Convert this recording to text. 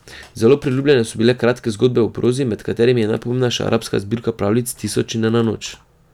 Zelo priljubljene so bile kratke zgodbe v prozi, med katerimi je najpomembnejša arabska zbirka pravljic Tisoč in ena noč.